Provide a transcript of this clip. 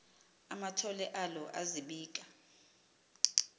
amathole alo azibika